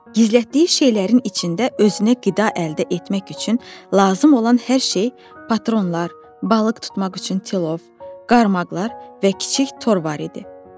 Gizlətdiyi şeylərin içində özünə qida əldə etmək üçün lazım olan hər şey, patronlar, balıq tutmaq üçün tilov, qarmaqlar və kiçik tor var idi.